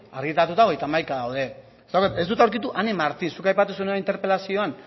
argitaratuta hogeita hamaika daude ez dut aurkitu ane martin zuk aipatu duzuna interpelazioan